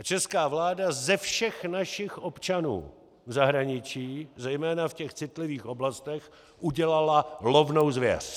A česká vláda ze všech našich občanů v zahraničí, zejména v těch citlivých oblastech, udělala lovnou zvěř.